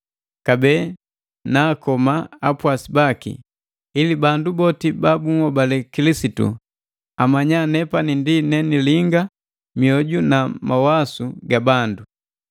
Kabee na akoma apwasi baki, ili bandu boti ba bunhobale Kilisitu amanya nepani ndi nenilinga mioju na mawasu ga bandu.”